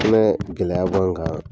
Fɛnɛ gɛlɛya b'anw kan